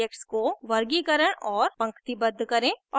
अब objects को वर्गीकरण और पंक्तिबद्ध करें